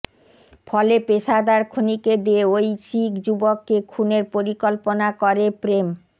ফলে পেশাদার খুনীকে দিয়ে ওই শিখ যুবককে খুনের পরিকল্পনা করে প্রেম